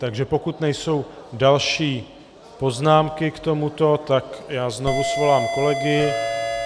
Takže pokud nejsou další poznámky k tomuto, tak já znovu svolám kolegy.